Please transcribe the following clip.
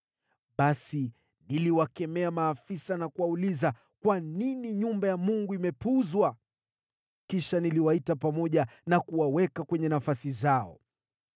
Basi niliwakemea maafisa na kuwauliza, “Kwa nini nyumba ya Mungu imepuuzwa?” Kisha niliwaita pamoja na kuwaweka kwenye nafasi zao.